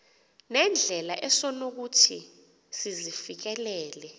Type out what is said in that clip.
nendlela esonokuthi sizifikelele